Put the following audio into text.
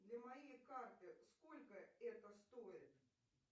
для моей карты сколько это стоит